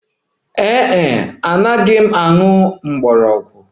Ee e, anaghị m ewere herbs